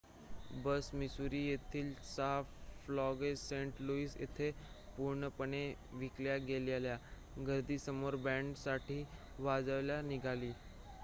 बस Missouri येथील 6 Flags Saint Louis येथे पूर्णपणे विकल्या गेलेल्या गर्दीसमोर बॅंड साठी वाजवायला निघाली